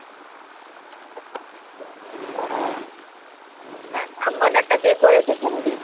হ্যাঁ আর murder টা কে করেছে শুনবি?